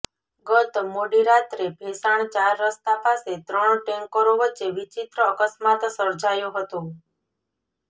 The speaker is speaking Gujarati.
ગત મોડી રાત્રે ભેંસાણ ચાર રસ્તા પાસે ત્રણ ટેન્કરો વચ્ચે વિચિત્ર અકસ્માત સર્જાયો હતો